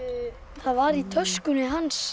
það var í töskunni hans